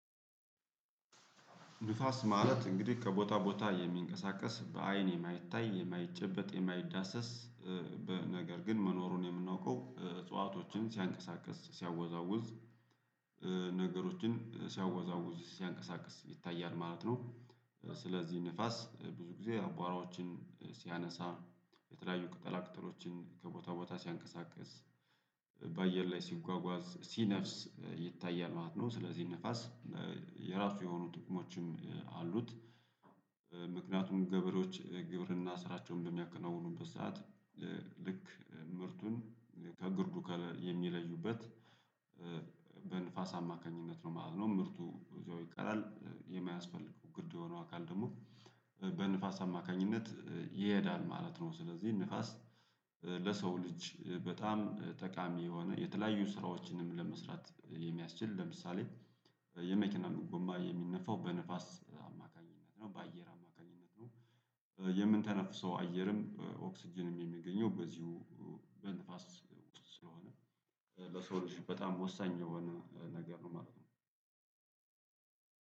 ንፋስ ማለት እንግዲህ ከቦታ ቦታ የሚንቀሳቀስ በአይን የማይታይ የማይጨበጥ የማይዳሰስ በነገር ግን መኖሩን የምናውቀው እጽዋቶችን ሲያንቀሳቅስ ሲያወዛውዝ ነገሮችን ሲያወዛውዝ ሲያንቀሳቅስ ይታያል ማለት ነው። ስለዚህ ንፋስ ብዙ ጊዜ አቧራዎችን ሲያነሳ የተለያዩ ቅጠላ ቅጠሎችን ከቦታ ቦታ ሲያንቀሳቅስ በአየር ላይ ሲጓጓዝ ሲነፍስ ይታያል ማለት ነው። ስለዚህ ንፋስ የራሱ የሆኑ ጥቅሞችም አሉት። ምክንያቱም ገበሬዎች ግብርና ስራቸውን በሚያከናውኑበት ሰዓት ልክ ምርቱን ከግርዱ ከለር የሚለዩበት በንፋስ አማካኝነት ነው ማለት ነው። ምርቱ ይቀራል የማያስፈልገው ግርድ የሆነው አካል ደግሞ በንፋስ አማካኝነት ይሄዳል ማለት ነው። ስለዚህ ንፋስ ለሰው ልጅ በጣም ጠቃሚ የሆነ የተለያዩ ስራዎችንም ለመስራት የሚያስችል ለምሳሌ የመኪናን ጎማ የሚነፋው በንፋስ አማካኝነት ነው በአየር አማካኝነት ነው። የምንተነፍሰው አየርም ኦክስጅንም የሚገኘው በዚሁ በንፋስ ስለሆነ ለሰው ልጅ በጣም ወሳኝ የሆነ ነገር ነው ማለት ነው።